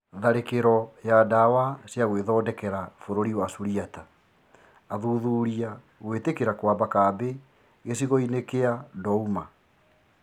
Tharĩkĩro ya ndawa ciagwĩthondekera bũrũri wa Suriata: athuthuria gwĩtĩkĩra kwamba kambĩ gĩcigo-inĩ kĩa Douma